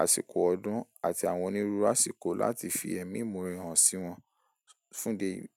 àsìkò ọdún àti àwọn onírúurú àsìkò láti fi ẹ̀mí ìmoore hàn sí wọn fún ide eyii.